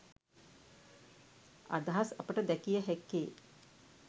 අදහස් අපට දැකිය හැක්කේ